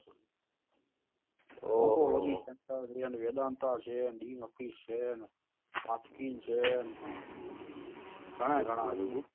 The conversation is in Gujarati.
પ્રીય્વેન્દાનતા છે ડીન ઓફીસ છે તસ્કીન છે ઘણા ઘણા